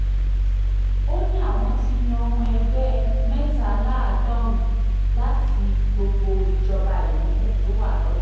ó ní àwọn ti yan ọmọ ẹgbẹ́ mẹ́tàléláàádọ́rùn-ún láti gbogbo ìjọba ìbílẹ̀ tó wà lọ́sùn